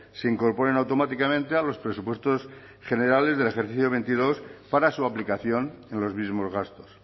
se incorporen automáticamente a los presupuestos generales del ejercicio veintidós para su aplicación en los mismos gastos